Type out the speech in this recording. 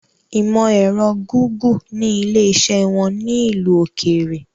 Ìmọ ẹ̀rọ Gúgù ni ilé iṣẹ́ wọn ní ìlú òkèèrè